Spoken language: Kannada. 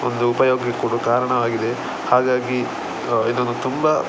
ಒಂದು ಉಪಯೋಗ ಕೊಡುವ ಕಾರಣವಾಗಿದೆ ಹಾಗಾಗಿ ಇದೊಂದು ತುಂಬ.